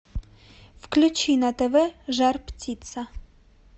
включи на тв жар птица